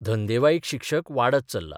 धंदेवाईक शिक्षक वाडत चल्ला.